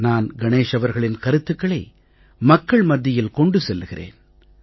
நான் கணேஷ் அவர்களின் கருத்துக்களை மக்கள் மத்தியில் கொண்டு செல்கிறேன்